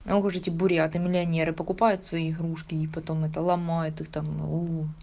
ох уж эти буряты миллионеры покупают свои игрушки не потом это ломаю ты там уу